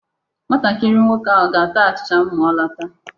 Nwatakịrị nwoke ahụ ga-ata achịcha ma m lọta.